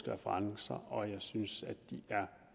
referencer og jeg synes at de er